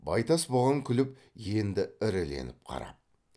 байтас бұған күліп енді іріленіп қарап